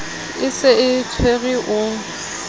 e se e tshwere o